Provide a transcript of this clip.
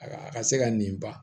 A ka a ka se ka nin ban